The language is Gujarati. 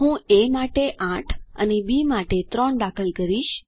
હું એ માટે 8 અને બી માટે 3 દાખલ કરીશ